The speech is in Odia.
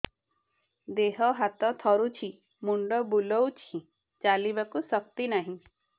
ଦେହ ହାତ ଥରୁଛି ମୁଣ୍ଡ ବୁଲଉଛି ଚାଲିବାକୁ ଶକ୍ତି ନାହିଁ